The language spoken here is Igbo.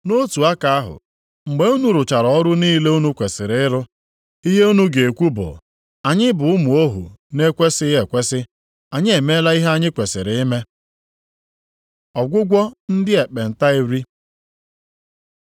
Nʼotu aka ahụ, mgbe unu rụchara ọrụ niile unu kwesiri ịrụ, ihe unu ga-ekwu bụ, ‘Anyị bụ ụmụ ohu na-ekwesighị ekwesi, anyị emeela ihe anyị kwesiri ime.’ ” Ọgwụgwọ ndị ekpenta iri